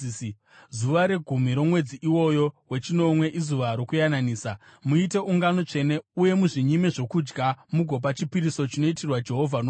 “Zuva regumi romwedzi iwoyo wechinomwe iZuva Rokuyananisa. Muite ungano tsvene uye muzvinyime zvokudya, mugopa chipiriso chinoitirwa Jehovha nomoto.